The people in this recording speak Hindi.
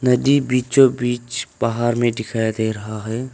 नदी बीचो बीच पहाड़ में दिखाई दे रहा है।